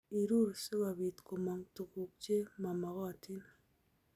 Irur sikobit komong tuguk che mamakotin